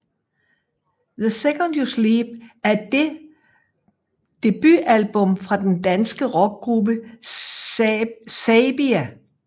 The Second You Sleep er det debutalbummet fra den danske rockgruppe Saybia